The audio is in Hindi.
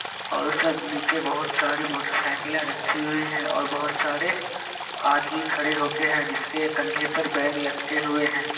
ओर उसमें नीचे बहुत सारी मोटरसाइकीले रखी हुई हैं और बहुत सारे आदमी खड़े होके है जिसके कंधे पर बेग लटके हुए हैं।